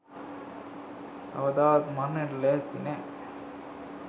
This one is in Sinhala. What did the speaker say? කවදාවත් මරණයට ලෑස්ති නෑ.